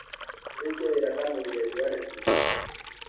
Tũrĩkie wĩra kamũira riũa rĩtuĩkĩte ihiũ